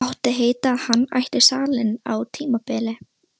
Mátti heita að hann ætti salinn á tímabili.